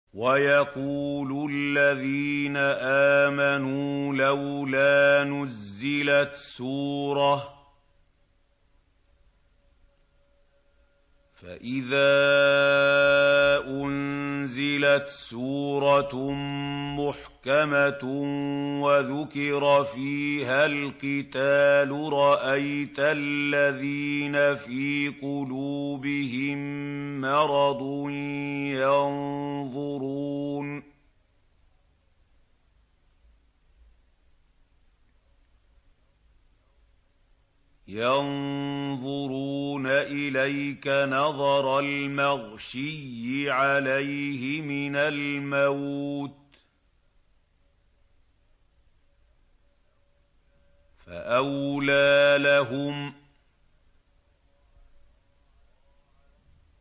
وَيَقُولُ الَّذِينَ آمَنُوا لَوْلَا نُزِّلَتْ سُورَةٌ ۖ فَإِذَا أُنزِلَتْ سُورَةٌ مُّحْكَمَةٌ وَذُكِرَ فِيهَا الْقِتَالُ ۙ رَأَيْتَ الَّذِينَ فِي قُلُوبِهِم مَّرَضٌ يَنظُرُونَ إِلَيْكَ نَظَرَ الْمَغْشِيِّ عَلَيْهِ مِنَ الْمَوْتِ ۖ فَأَوْلَىٰ لَهُمْ